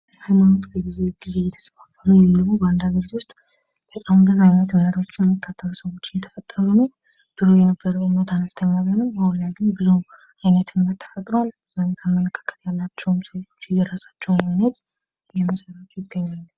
ሀይማኖት ላይ ብዙ ጊዜ እየተስፋፋት በአንድ አገሩ ውስጥ በጣም ብዙ አይነቶች እምነቶች የሚከተሉ ሰዎች እየተስፋፉ ነው። ድሮ የነበረው እምነት አነስተኛ ቢሆንም አሁን ላይ ግን ብዙ አይነት እምነት ተፈጥሯል የተለያዩ አመለካከት ያላቸው የራሳቸውን ሃይማኖት እየመሰረቱ ነው።